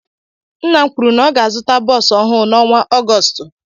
Nna m kwụrụ na ọ ga-azuta bosú ọhụụ na ọnwa Augoostu.